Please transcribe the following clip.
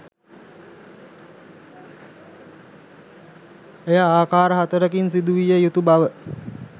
එය ආකාර හතරකින් සිදු විය යුතු බව